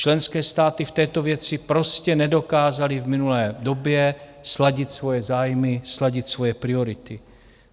Členské státy v této věci prostě nedokázaly v minulé době sladit svoje zájmy, sladit svoje priority.